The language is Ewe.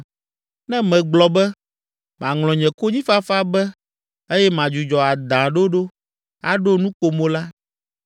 Ne megblɔ be, ‘Maŋlɔ nye konyifafa be eye madzudzɔ adãɖoɖo, aɖo nukomo la,’